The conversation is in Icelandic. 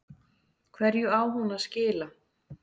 Hverju á hún að skila?